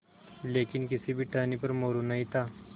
लेकिन किसी भी टहनी पर मोरू नहीं था